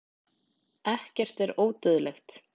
Selborgum